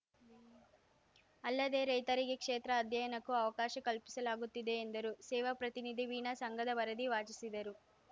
ಅಲ್ಲದೆ ರೈತರಿಗೆ ಕ್ಷೇತ್ರ ಅಧ್ಯಯನಕ್ಕೂ ಅವಕಾಶ ಕಲ್ಪಿಸಲಾಗುತ್ತಿದೆ ಎಂದರು ಸೇವಾ ಪ್ರತಿನಿಧಿ ವೀಣಾ ಸಂಘದ ವರದಿ ವಾಚಿಸಿದರು